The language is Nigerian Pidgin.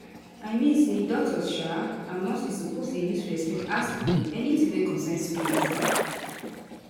i mean say doctors um and nurses suppose dey use respect ask pipo anytin wey concern spirit